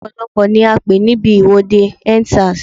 Ọ̀pọ̀lọ́pọ̀ ni a pé níbi ìwọ́de End Sars.